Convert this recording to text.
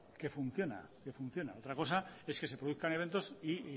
que funciona que funciona otra cosa es que se produzcan eventos y